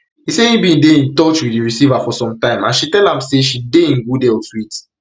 e say im bin dey in touch wit di receiver for some time and she tell am say she dey in good health wit